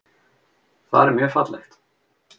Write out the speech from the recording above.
Þar er mjög fallegt.